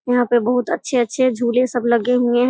यहाँ पे बहुत अच्छे-अच्छे झूले सब लगे हुयें हैं।